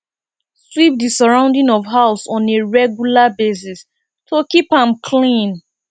sweep di surrounding of house on a regular basis to keep am clean